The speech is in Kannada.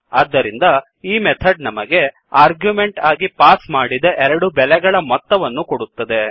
ಆದ್ದರಿಂದ ಈ ಮೆಥಡ್ ನಮಗೆ ಆರ್ಗ್ಯುಮೆಂಟ್ ಆಗಿ ಪಾಸ್ ಮಾಡಿದ ಎರಡು ಬೆಲೆಗಳ ಮೊತ್ತವನ್ನು ಕೊಡುತ್ತದೆ